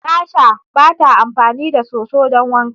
Tasha bata amfani da soso don wanka.